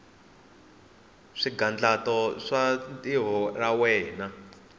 swigandlato swa tintiho ta wena